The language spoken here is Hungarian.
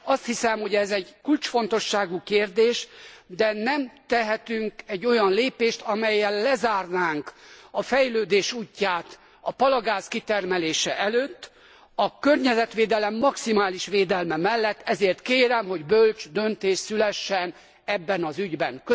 Azt hiszem, hogy ez egy kulcsfontosságú kérdés, de nem tehetünk egy olyan lépést, amellyel lezárnánk a fejlődés útját a palagáz kitermelése előtt, a környezetvédelem maximális védelme mellett, ezért kérem, hogy bölcs döntés szülessen ebben az ügyben.